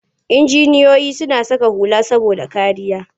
Injiniyoyi suna saka hula saboda kariya.